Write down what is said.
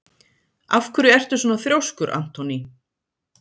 Af hverju ertu svona þrjóskur, Anthony?